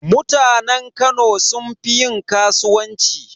Mutanen Kano sun fi yin kasuwanci.